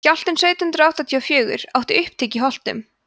skjálftinn sautján hundrað áttatíu og fjögur átti upptök í holtum